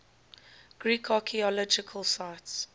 greek archaeological sites